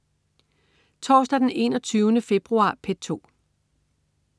Torsdag den 21. februar - P2: